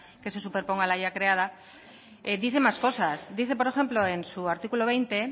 que se superponga a la ya creada dice más cosas dice por ejemplo en su artículo veinte